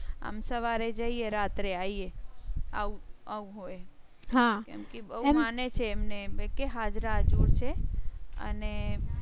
આમ સવારે જઈએ રાત્રે આઇએ આવુ આવુ હોય હા કેમકે કે બહુ એ માને છે એમ ને એટલે કે હાજરા હજુર છે અને